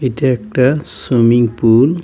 এটা একটা swimming pool .